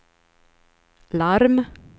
larm